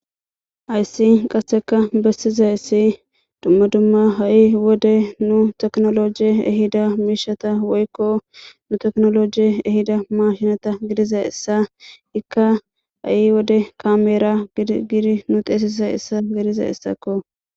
hayssi qasseka bessizaysi dumma dumma ha'i wode nu technology ehida miishata woykko nu technology ehida mashinata gidizayissa ikka ha'i wode kameera gidi nu xeesisazyissa gedizayissakko